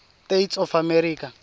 states of america